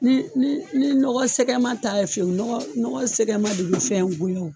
Ni ni ni nɔgɔ sɛgɛma ta ye fiyewu nɔgɔ nɔgɔ sɛgɛma de be fɛn goya o